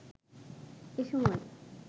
এ সময়